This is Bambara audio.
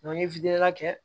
n ye kɛ